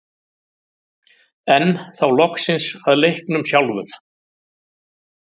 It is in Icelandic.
Enn þá loksins að leiknum sjálfum.